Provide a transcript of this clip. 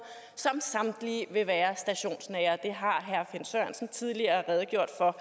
som samtlige vil være stationsnære det har herre finn sørensen tidligere redegjort for